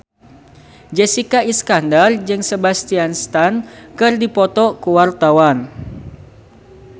Jessica Iskandar jeung Sebastian Stan keur dipoto ku wartawan